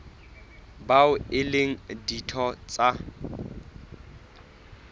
bao e leng ditho tsa